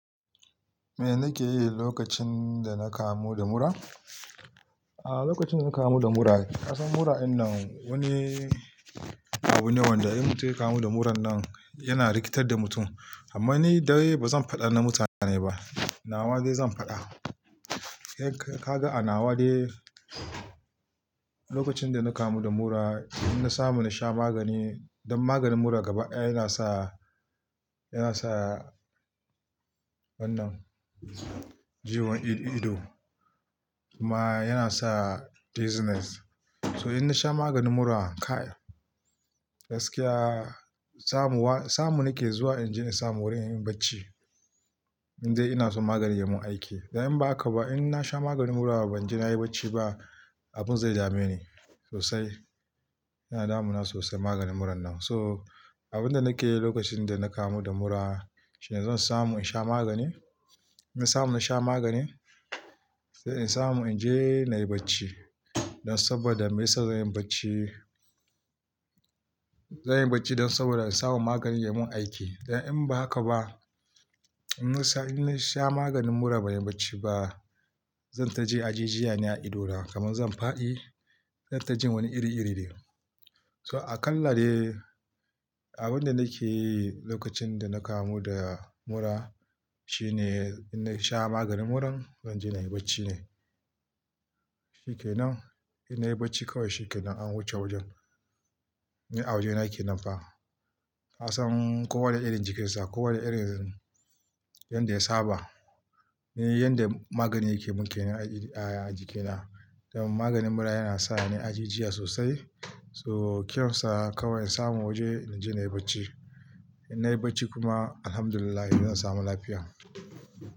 Me nake yi lokacin da na kamu da mura? A lokacin da na kamu da mura, ka san mura in nan wani abu ne wanda in mutum ya kamu da muran nan yana rikitar da mutum. Amma ni dai ba zan faɗa na mutane ba, nawa dai zan faɗa. Yanka kaga a nawa dai lokacin da na kamu da mura, idan na samu na sha magani. Dan maganin mura gaba yana sa, yana sa wannan jiyon ido ido. Kuma yana sa dizziness. So in na sha maganin mura kai gaskiya samu wa, samu nake zuwa inji in samu wurin inyi bacci in dai ina so maganin ya mun aiki. Dan in ba haka ba in na sha maganin mura ban je nayi bacci ba, abun zai dame ni sosai. Yana damuna sosai maganin muran nan. So abin da nake yi lokacin da na kamu da mura shine zan samu in sha magani. In na samu na sha magani, sai in samu in je nayi bacci. Dan saboda me yasa zan yi bacci, zan yi bacci dan saboda in samu maganin ya mun aiki. Dan in ba haka ba, in na sha, in na sha maganin mura ban yi bacci ba, zan taje ajijiya ne a idona kamar zan fadi. Zan tajin wani iri iri ne. So aƙalla dai abin da nake yi lokacin da na kamu da mura shine in na sha maganin muran, zan je nayi bacci ne. Shi ke nan. In nayi bacci kawai shi ke nan an wuce wajen. Ni a waje nake nan fa. Ka san kowa da irin jikinsa. Kowanne irin yanda ya saba. Ni yanda magani yake mun ke nan a jikina. Dan maganin mura yana sa ni ajijiya sosai. So kyansa kawai in samu waje in je nayi bacci. In nayi bacci kuma Alhamdulillah zan samu lafiya.